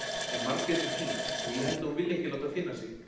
En Margrét er týnd og ég held að hún vilji ekki láta finna sig.